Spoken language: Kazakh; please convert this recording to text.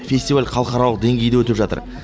фестиваль халықаралық деңгейде өтіп жатыр